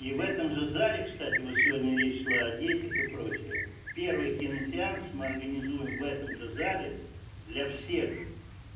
и в этом же зале кстати вот сегодня речь шла о детях и прочее первый киносеанс мы организуем в этом же зале для всех